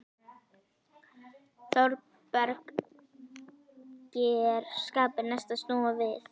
Þórbergi er skapi næst að snúa við.